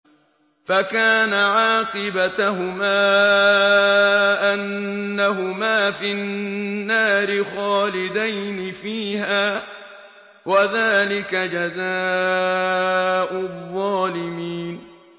فَكَانَ عَاقِبَتَهُمَا أَنَّهُمَا فِي النَّارِ خَالِدَيْنِ فِيهَا ۚ وَذَٰلِكَ جَزَاءُ الظَّالِمِينَ